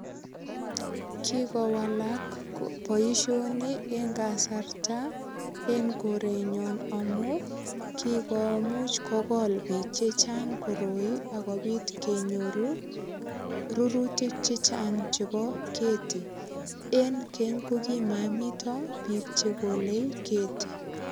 Kikowak boisioni en kasarta en korenyon amu kikomuch kogol biik che chang koroi ak kopitkenyor rurutik che chang chebo keti. Eng keng ko kimomito biik chegole keti.